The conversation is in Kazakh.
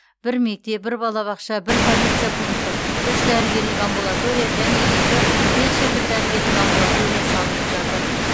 бір мектеп бір балабақша бір полиция пункті үш дәрігерлік амбулатория және екі фельдшерлік дәрігерлік амбулатория салынып жатыр